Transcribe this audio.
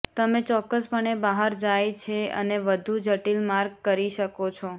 તમે ચોક્કસપણે બહાર જાય છે અને વધુ જટિલ માર્ગ કરી શકો છો